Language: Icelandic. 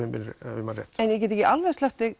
ef ég man rétt ég get ekki alveg sleppt